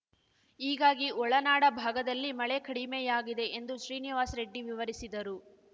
ಹೀಗಾಗಿ ಒಳನಾಡ ಭಾಗದಲ್ಲಿ ಮಳೆ ಕಡಿಮೆಯಾಗಿದೆ ಎಂದು ಶ್ರೀನಿವಾಸ್‌ ರೆಡ್ಡಿ ವಿವರಿಸಿದರು